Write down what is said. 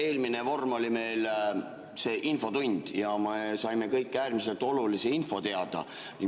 Eelmine vorm oli meil infotund ja me saime kõik äärmiselt olulist infot.